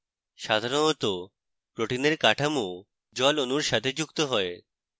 সাধারণত protein এর কাঠমো জল অণুর সাথে যুক্ত হয়